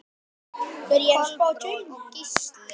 Kolbrún og Gísli.